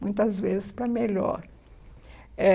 muitas vezes para melhor. Eh